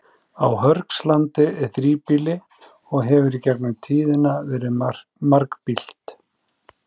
Á Hörgslandi er þríbýli og hefur í gegnum tíðina verið margbýlt.